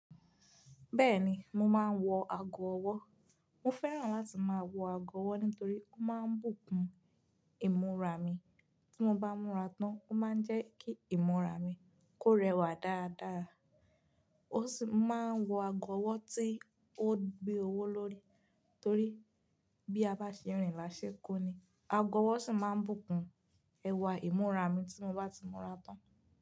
Bẹ́ẹ̀ni mo máa ń wọ ago ọwọ́. Mo fẹ́ràn láti máa wọ ago ọwọ́ nítorí ó máa ń bùkún ìmúra mi. Tí mo bá múra tán ó máa ń jẹ́ kí ìmúra mi kó rẹwà dáadáa. Ó sì máa ń wọ ago ọwọ́ tí ó gbé owó lórí torí bí a bá ṣe rìn láṣẹ kó ni. Ago ọwọ́ sì máa ń bùkún ẹwà ìmúra mi tí mo bá ti múra tán.